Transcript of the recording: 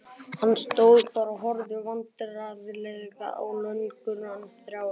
Hann stóð bara og horfði vandræðalega á löggurnar þrjár.